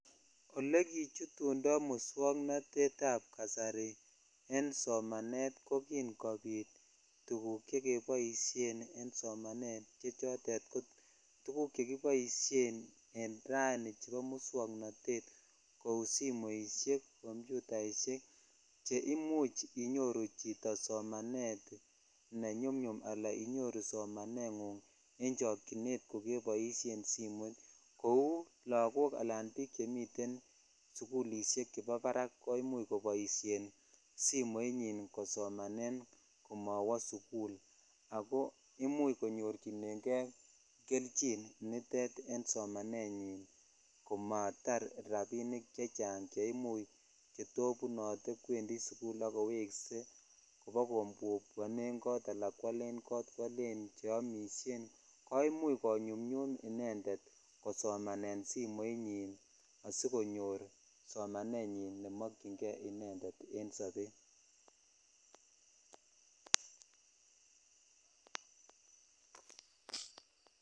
Ole kichutundo muswoknotet ab jasari en somanet ko kin kobit tuguk che keboisien en somanet ne noton keboisien en rani chebo muswoknotet kou simoishek komputaishek che imuch inyoru chito somanet ne nyomnyum ala inyoru somanengung ko keboisien simoit kou ko lakok ala bik chemiten en sukulishek ab barak koimuch koboishen Simon yin kosomanet komowo sukul ako imuch konyorchinen kei kelchinn een somanenyin komatar rabinik chechang che to bune te kwendi sukul ak kowese koba kokomwonen kot ala kwolen , kwolen cheome ko imuch konyumnyum inended kosomanet simonyin asikonyor somanenyin ne mokyin kei inended en sobet.